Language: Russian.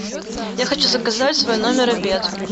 я хочу заказать в свой номер обед